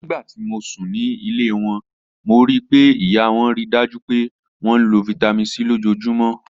Nigbati mo sun ni ile wọn, mo rii pe iya wọn rii daju pe wọn lo Vitamin C lojoojumọ.